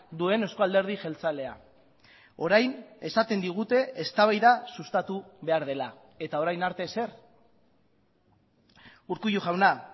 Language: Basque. duen euzko alderdi jeltzalea orain esaten digute eztabaida sustatu behar dela eta orain arte ezer urkullu jauna